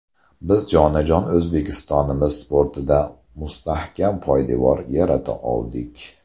Biz jonajon O‘zbekistonimiz sportida mustahkam poydevor yarata oldik.